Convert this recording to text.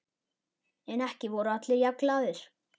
En ekki voru allir jafn glaðir.